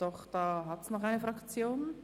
Doch noch eine Fraktion?